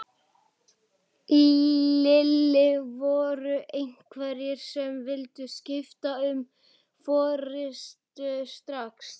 Lillý: Voru einhverjir sem vildu skipta um forystu strax?